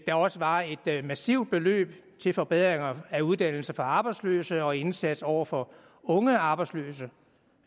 der også var et massivt beløb til forbedringer af uddannelse for arbejdsløse og indsats over for unge arbejdsløse